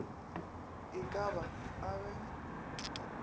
e ka ba a be